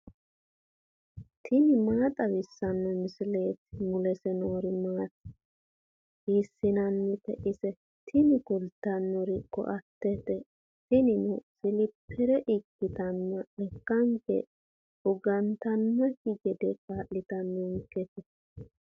tini maa xawissanno misileeti ? mulese noori maati ? hiissinannite ise ? tini kultannori koa"ttete tinino siliphere ikkitanna lekkanke fugantannokki gede kaa'litannonketa.